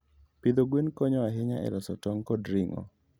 Pidho gwen konyo ahinya e loso tong' kod ring'o.